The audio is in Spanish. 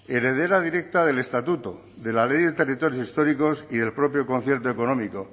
heredera directa del estatuto de la ley de territorios históricos y del propio concierto económico